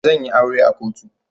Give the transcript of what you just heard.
Zan yi aure a kotu.